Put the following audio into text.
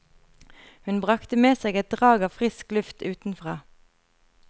Hun brakte med seg et drag av frisk luft utenfra.